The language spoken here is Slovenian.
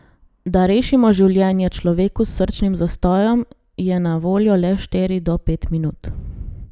Da rešimo življenje človeku s srčnim zastojem, je na voljo le štiri do pet minut.